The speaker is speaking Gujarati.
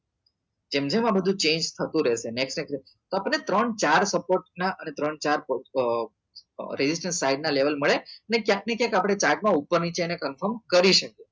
જેમ જેમ આ બધું change થતું રેસે તો આપડે ત્રણ ચાર support ના અને ત્રણ ચાર ragistrastion side ના level મળે ને ક્યાંક ને ક્યાંક આપડે chart માં ઉપર નીચે એને confirm કરી શકીએ